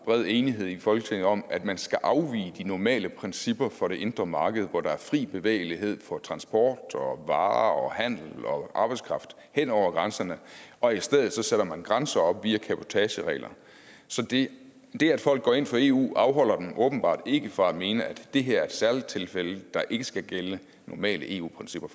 bred enighed i folketinget om at man skal afvige de normale principper for det indre marked hvor der er fri bevægelighed for transport og varer og handel og arbejdskraft hen over grænserne og i stedet sætter man grænser op via cabotageregler så det at folk går ind for eu afholder dem åbenbart ikke fra at mene at det her er et særligt tilfælde der ikke skal gælde normale eu principper